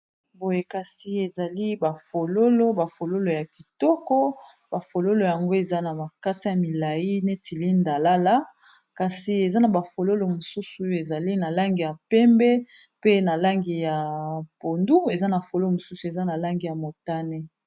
Boye kasi ezali bafololo bafololo ya kitoko bafololo yango eza na makasa ya milayi neti linda lala kasi eza na bafololo mosusu ezali na langi ya pembe pe na langi ya pondu eza na fololo mosusu eza na langi ya motane